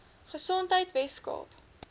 gesondheidweskaap